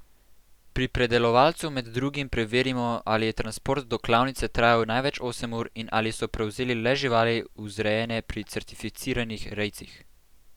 Pri predelovalcu med drugim preverimo, ali je transport do klavnice trajal največ osem ur in ali so prevzeli le živali, vzrejene pri certificiranih rejcih.